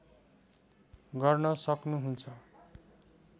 गर्न सक्नु्हुन्छ